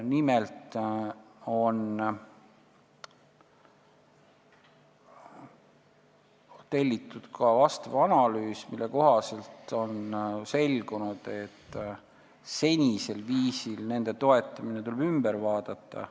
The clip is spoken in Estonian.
Nimelt telliti vastav analüüs, mille kohaselt selgus, et nende senisel viisil toetamine tuleb üle vaadata.